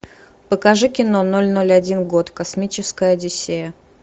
покажи кино ноль ноль один год космическая одиссея